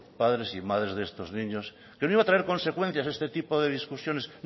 padres y madres de estos niños que no iba a traer consecuencias este tipo de discusiones